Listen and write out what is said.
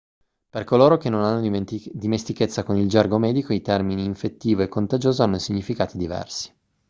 per coloro che non hanno dimestichezza con il gergo medico i termini infettivo e contagioso hanno significati diversi